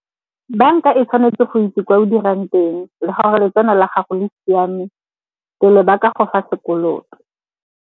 Banka e tshwanetse go itse kwa o dirang teng le gore letseno la gago le siame, pele ba ka go fa sekoloto.